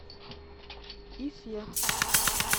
ифе